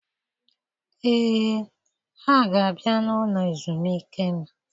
Ee, ha-ga abịa n'ụlọ ezumike m.